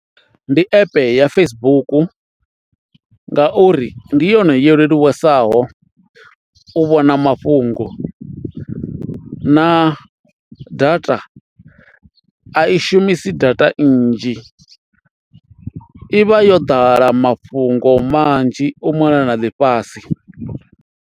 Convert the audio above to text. Ndi app ya Facebook ngauri ndi yone yo leluwesaho u vhona mafhungo na data a i shumisi data nnzhi, i vha yo ḓala mafhungo manzhi u mona na ḽifhasi.